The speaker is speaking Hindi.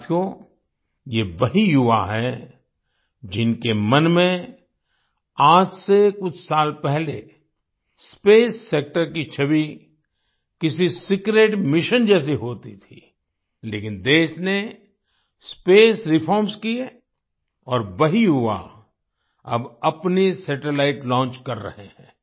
साथियो ये वही युवा हैं जिनके मन में आज से कुछ साल पहले स्पेस सेक्टर की छवि किसी सीक्रेट मिशन जैसी होती थी लेकिन देश ने स्पेस रिफॉर्म्स किए और वही युवा अब अपनी सैटेलाइट लॉन्च कर रहे हैं